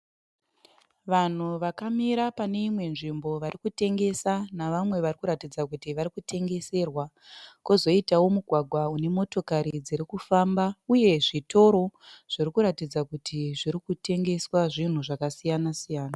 Vanhu vakamira pane imwe nzvimbo vari kutengesa navamwe vari kuratidza kuti vari kutengeserwa, kwozoitawo mugwagwa une motokari dziri kufamba uye zvitoro zviri kuratidza kuti zviri kutengeswa zvinhu zvakasiyanasiyana.